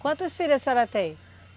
Quantos filhos a senhora tem?